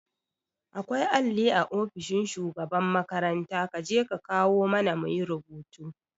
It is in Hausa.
Akwai alli a ofishin shugaban makaranta kaje ka kawo mana muyi rubutu